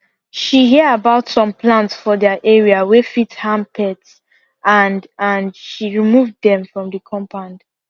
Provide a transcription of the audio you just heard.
she hear about some plants for their area wey fit harm pets and and she remove them from the compound